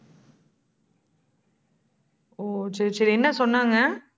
ஓ, சரி, சரி என்ன சொன்னாங்க?